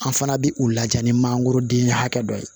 An fana bɛ u lajɛ ni mangoroden hakɛ dɔ ye